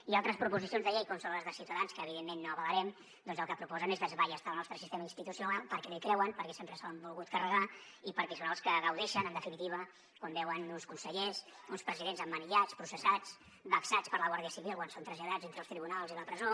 i altres proposicions de llei com són les de ciutadans que evidentment no avalarem doncs el que proposen és desballestar el nostre sistema institucional perquè no hi creuen perquè sempre se l’han volgut carregar i perquè són els que gaudeixen en definitiva quan veuen uns consellers uns presidents emmanillats processats vexats per la guàrdia civil quan són traslladats entre els tribunals i la presó